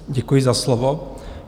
Děkuji za slovo.